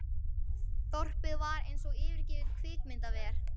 Þorpið var eins og yfirgefið kvikmyndaver.